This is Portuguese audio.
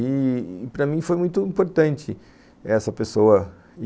E para mim foi muito importante essa pessoa.